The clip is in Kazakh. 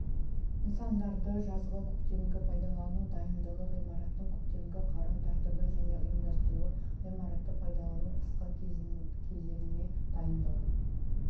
нысандарды жазғы көктемгі пайдалану дайындығы ғиммараттың көктемгі қарау тәртібі және ұйымдастыруы ғимаратты пайдаланудың қысқы кезеңіне дайындығы